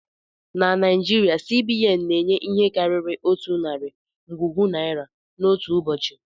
Na Naijiria, C.B.N na-enye ihe karịrị otu narị ngwugwu naira n'otu ụbọchị